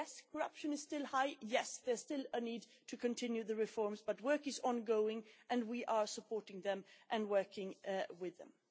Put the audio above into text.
Yes, corruption is still high and, yes, there still a need to continue the reforms, but work is ongoing and we are supporting them and working with them.